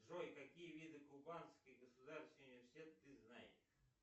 джой какие виды кубанский государственный университет ты знаешь